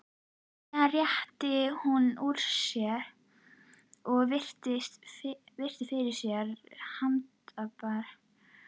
Síðan rétti hún úr sér og virti fyrir sér handbragðið.